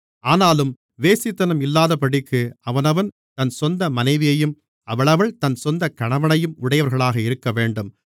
ஆனாலும் வேசித்தனம் இல்லாதபடிக்கு அவனவன் தன் சொந்த மனைவியையும் அவளவள் தன் சொந்த கணவனையும் உடையவர்களாக இருக்கவேண்டும்